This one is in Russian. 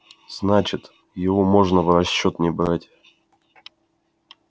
значит его можно в расчёт не брать